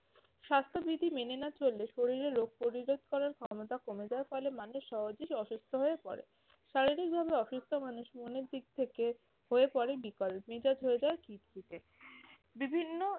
স্বাস্থ্যবিধি মেনে না চললে শরীরে রোগ প্রতিরোধ করার ক্ষমতা কমে যায় ফলে মানুষ সহজে অসুস্থ হয়ে পড়ে। শারীরিকভাবে অসুস্থ মানুষ মনের দিক থেকে হয়ে পড়ে বিকল, মেজাজ হয়ে যায় খিটখিটে। বিভিন্ন